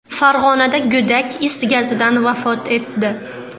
Farg‘onada go‘dak is gazidan vafot etdi.